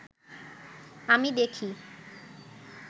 আমি দেখি